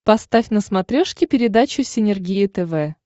поставь на смотрешке передачу синергия тв